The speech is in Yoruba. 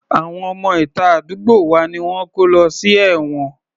Àwọn ọmọ ìta àdúgbò wa ni wọ́n ti kó lọ sí ẹ̀wọ̀n